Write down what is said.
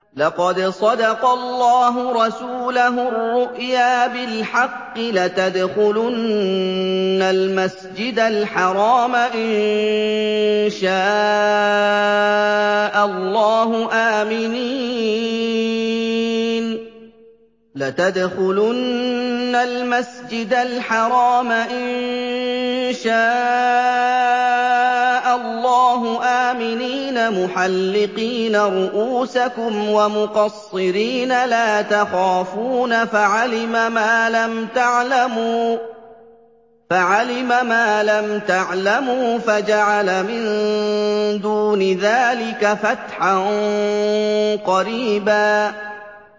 لَّقَدْ صَدَقَ اللَّهُ رَسُولَهُ الرُّؤْيَا بِالْحَقِّ ۖ لَتَدْخُلُنَّ الْمَسْجِدَ الْحَرَامَ إِن شَاءَ اللَّهُ آمِنِينَ مُحَلِّقِينَ رُءُوسَكُمْ وَمُقَصِّرِينَ لَا تَخَافُونَ ۖ فَعَلِمَ مَا لَمْ تَعْلَمُوا فَجَعَلَ مِن دُونِ ذَٰلِكَ فَتْحًا قَرِيبًا